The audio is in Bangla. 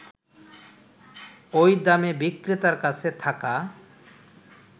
ঐ দামে বিক্রেতার কাছে থাকা